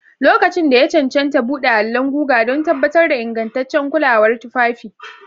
Lokacin da ya cancanta, buɗe allon guga don tabbatar da ingantaccen kulawar tufafi.